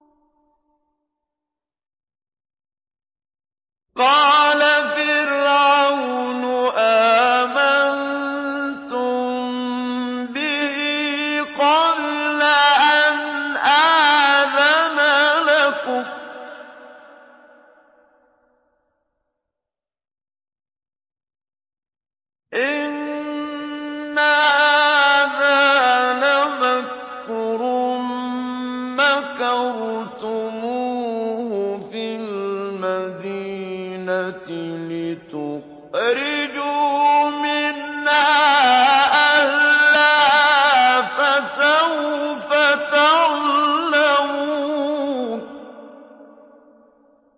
قَالَ فِرْعَوْنُ آمَنتُم بِهِ قَبْلَ أَنْ آذَنَ لَكُمْ ۖ إِنَّ هَٰذَا لَمَكْرٌ مَّكَرْتُمُوهُ فِي الْمَدِينَةِ لِتُخْرِجُوا مِنْهَا أَهْلَهَا ۖ فَسَوْفَ تَعْلَمُونَ